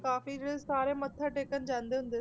ਕਾਫ਼ੀ ਜਿਹੜੇ ਸਾਰੇ ਮੱਥਾ ਟੇਕਣ ਜਾਂਦੇ ਹੁੰਦੇ,